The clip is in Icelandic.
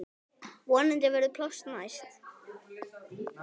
Vonandi verður pláss næst.